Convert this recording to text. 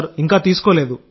ఇంకా తీసుకోలేదు